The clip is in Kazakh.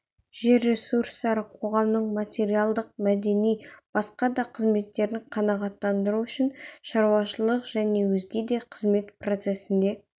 жер ресурстары қоғамның материалдық мәдени және басқа да қажеттерін қанағаттандыру үшін шаруашылық және өзге де қызмет процесінде